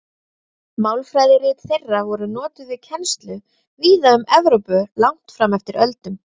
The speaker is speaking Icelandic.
Málfræðirit þeirra voru notuð við kennslu víða um Evrópu langt fram eftir öldum.